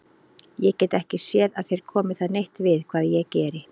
Ég get ekki séð að þér komi það neitt við hvað ég geri.